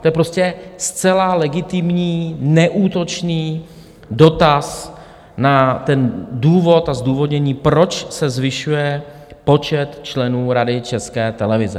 To je prostě zcela legitimní neútočný dotaz na ten důvod a zdůvodnění, proč se zvyšuje počet členů Rady České televize.